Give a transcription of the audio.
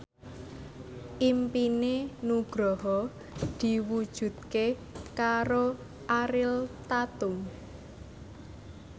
impine Nugroho diwujudke karo Ariel Tatum